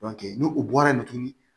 ni u bɔra yen nɔ tuguni